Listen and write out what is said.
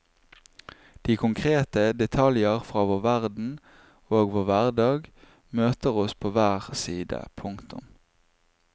De konkrete detaljer fra vår verden ogvår hverdag møter oss på hver side. punktum